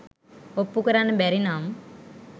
ඔප්පු කරන්න බැරි නම්